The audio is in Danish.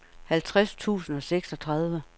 halvtreds tusind og seksogtredive